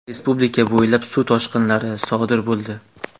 Respublika bo‘ylab suv toshqilari sodir bo‘ldi.